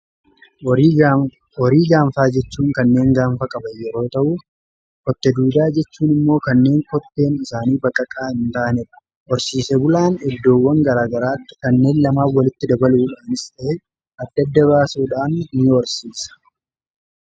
Horii gaanfaa jechuun kanneen gaanfaa qaban yeroo ta'uu kotte duudaa jechuun immoo kanneen kotteen isaanii baqaqaa hin taanedha. Horsiisee bulaan eddoowwan garaagaraatti kanneen lamaan walitti dabaluu dhaanis ta'ee adda adda baasuudhaan ni Horsiisa.